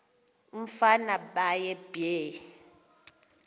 umfana baye bee